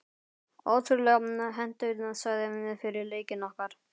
Ótrúlega hentugt svæði fyrir leikinn okkar.